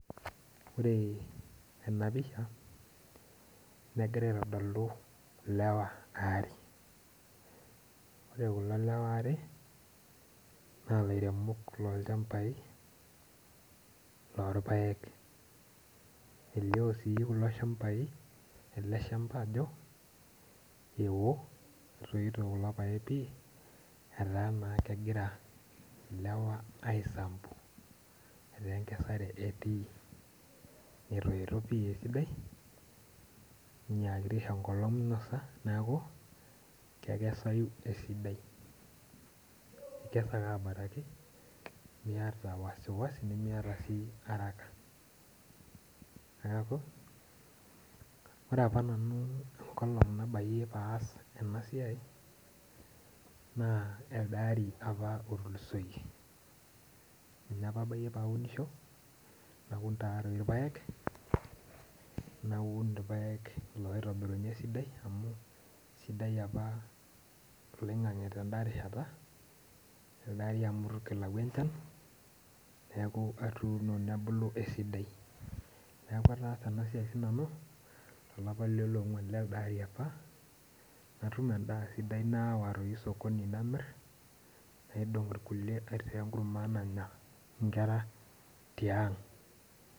Ore enapisha negira aitodolu lewa aare ore kulo lewa aare na lairemok lolchambai lorpaek elio si kulo shamba ajo eo etoito kulo paek pii ataa kegira lewa aisambu ataa enkesare etii netoito esidai ninyakaki aisho enkolong minosa neaku ekesayu esidai ikes ake abaraki miata araka neaku ore aoa nanu tenkolong nabayie paas enasai na elde ari otulusoyie ninye apa bayie paunisho naun irpaek oitobirunye esidai amu sidai apa oloingangi tenarishata amu itu kilau enchan neaku atuuni nebuku esidai neaku ataasa enasua sinanu tolapa leonguan lelde ari am atum endaa sidai nayawa osokoni namir naidong nkulie aitaa enkurma nanya nkera tiang.